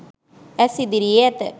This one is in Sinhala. ඇස් ඉදිරියේ ඇත.